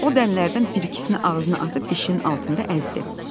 O dənələrdən bir ikisini ağzına atıb dişinin altında əzdi.